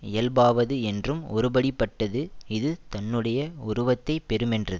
இயல்பாவது என்றும் ஒருபடிப்பட்டது இது தன்னுடைய உருவத்தைப் பெறுமென்றது